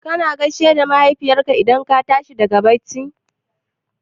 Kana gaishe da Mahaifinka idan ka tashi daga bacci?